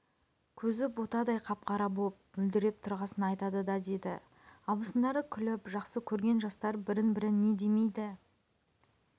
көзі ботадай қап-қара боп мөлдіреп тұрғасын айтады да деді абысындары күліп жақсы көрген жастар бірін-бірі не демейді